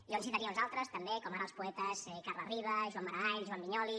jo en citaria uns altres també com ara els poetes carles riba joan maragall joan vinyoli